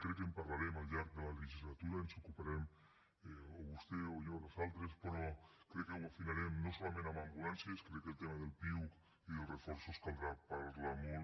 crec que en parlarem al llarg de la legislatura i ens ocuparem o vostè o jo o nosaltres però crec que ho afinarem no solament amb ambulàncies crec que del tema del piuc i dels reforços en caldrà parlar molt